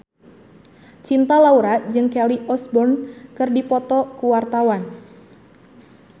Cinta Laura jeung Kelly Osbourne keur dipoto ku wartawan